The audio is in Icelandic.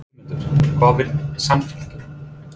Sigmundur: Hvað vill Samfylkingin?